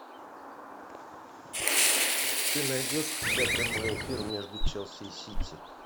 ты найдешь у себя прямой эфир между челси и сити